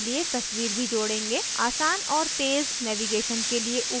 आसान और तेज़ navigation के लिए ऊपर menu bar भी जोड़ेंगे